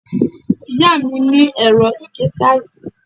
ìyá mi ní ẹ̀rọ ìgé táìsì.